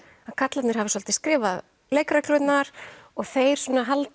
að karlarnir hafi svolítið skrifað leikreglurnar og þeir svona haldi